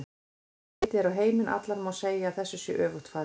Ef litið er á heiminn allan má segja að þessu sé öfugt farið.